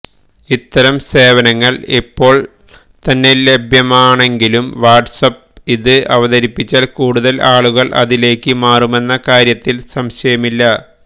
ഇത്തരം സേവനങ്ങള് ഇപ്പോള് തന്നെ ലഭ്യമാണെങ്കിലും വാട്ട്സ്ആപ്പ് ഇത് അവതരിപ്പിച്ചാല് കൂടുതല് ആളുകള് അതിലേക്ക് മാറുമെന്ന കാര്യത്തില് സംശയമില്ല